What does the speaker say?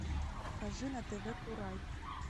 покажи на тв курай